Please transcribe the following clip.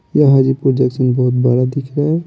यह हाजी प्रोजेक्शन बहुत बड़ा दिख रहा है।